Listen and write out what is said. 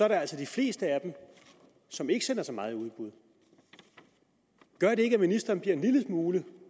altså de fleste af dem som ikke sender så meget i udbud gør det ikke at ministeren bliver en lille smule